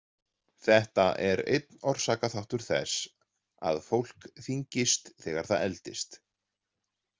Þetta er einn orsakaþáttur þess að fólk þyngist þegar það eldist.